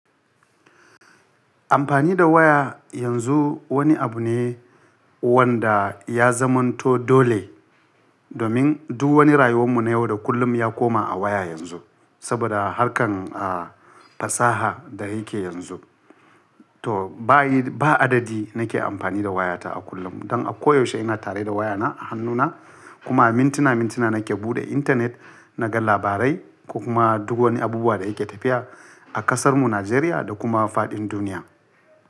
Amfani da waya yanzu wani abu ne wanda ya zamanto dole, domin duk wani rayuwanmu na yau da kullum ya koma a waya yanzu. Saboda harkan, ah, fasaha da yake yanzu. To ba a yi, ba adadi nake amfani da wayata a kullum. Don a koyaushe ina tare da wayana a hannuna kuma mintina mintina nake buɗe intanet naga labarai kuma duk wani abubuwa da yake tafiya a ƙasarmu Najeriya da kuma faɗin duniya.